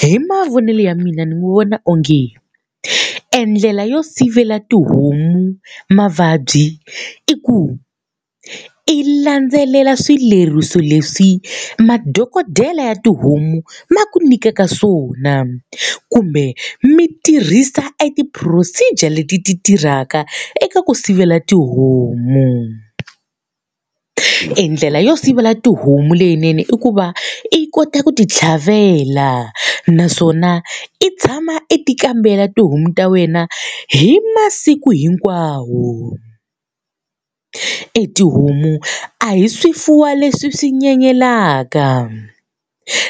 Hi mavonelo ya mina ni vona onge e ndlela yo sivela tihomu mavabyi i ku i landzelela swileriso leswi madokodela ya tihomu va ku nyikaka swona, kumbe mi tirhisa e ti-procedure leti ti tirhaka eka ku sivela tihomu. E ndlela yo sivela tihomu leyinene i ku va i kota ku ti tlhavela, naswona i tshama e ti kambela tihomu ta wena hi masiku hinkwawo. E tihomu a hi swifuwo leswi swi nyenyelaka,